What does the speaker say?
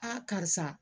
karisa